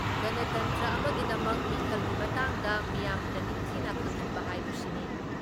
ꯒꯅꯇꯟꯇ꯭ꯔ ꯑꯃꯒꯤꯗꯃꯛ ꯃꯤꯈꯜꯒꯤ ꯃꯇꯥꯡꯗ ꯃꯤꯌꯥꯝꯗ ꯅꯤꯡꯊꯤꯅ ꯈꯪꯍꯟꯕ ꯍꯥꯏꯕꯁꯤꯅꯤ ꯫